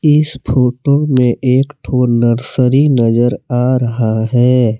इस फोटो में एक ठो नर्सरी नजर आ रहा है।